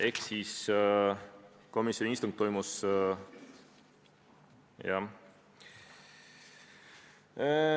Ehk siis komisjoni istung toimus, jah ...